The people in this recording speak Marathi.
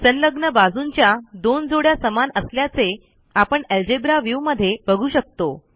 संलग्न बाजूंच्या दोन जोड्या समान असल्याचे आपण अल्जेब्रा व्ह्यू मध्ये बघू शकतो